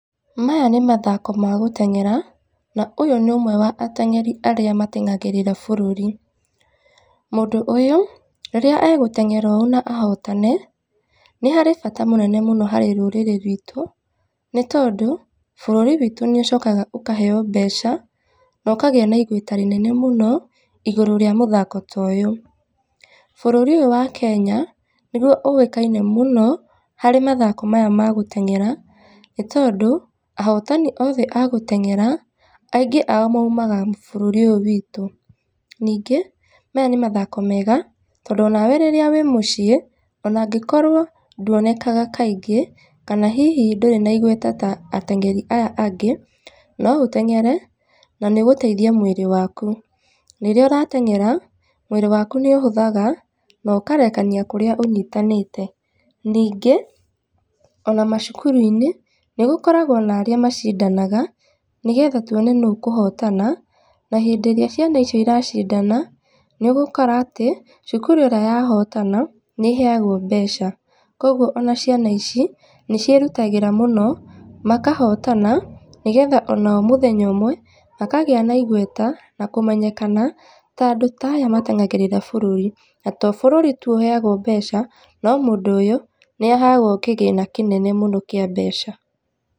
Maya nĩ mathako magũteng'era, na ũyũ nĩ ũmwe wa ateng'eri arĩa mateng'agĩrĩra bũrũri. Mũndũ ũyũ, rĩrĩa agũteng'era ũũ na ahotane, nĩ harĩ bata mũnene mũno harĩ rũrĩrĩ rwitũ nĩ tondũ, bũrúri witũ nĩ ũcokaga ũkaheo mbeca na ũkagĩa na igweta rĩnene mũno igũrũ rĩa mũthako ta ũyũ. Bũrũri ũyũ wa Kenya nĩguo ũĩkaine mũno harĩ mathako maya ma gũteng'era nĩ tondũ, ahotani othe agũteng'era aingĩ ao maumaga bũrũri ũyũ witũ. Ningĩ maya nĩ mathako mega tondũ onawe rírĩa wĩ mũciĩ, onangĩkorwo ndũonekaga kaingĩ, na hihi ndũrĩ na igweta ta ateng'eri aya angĩ, no ũteng'ere na nĩ ũgũteitha mwĩrĩ waku. Rĩrĩa ũrateng'era mwĩrĩ waku nĩ ũhũthaga na ũkarekania kũrĩa ũnyitanĩte. Ningĩ, ona macukuru-inĩ nĩ gũkoragwo na arĩa macindanaga, nĩgetha tũone nũũ ũkũhotana. Na hĩndĩ ĩrĩa ciana icio ciracindana, nĩ ũgũkora atĩ cukuru ĩrĩa yahotana nĩ ĩheagwo mbeca, koguo ona ciana ici nĩciĩrutagĩra mũno, makahotana nĩgetha onao mũthenya ũmwe makagĩa na igweta, na kũmenyekana ta andũ ta aya mateng'agĩrĩraga bũrũri. Na to o bũrũri tu ũheagwo mbeca, no mũndũ ũyũ nĩ aheagwo kĩgĩna kinene mũno kĩa mbeca.